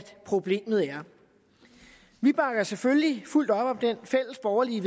problemet er vi bakker selvfølgelig fuldt op om det fælles borgerlige